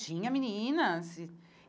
Tinha meninas e.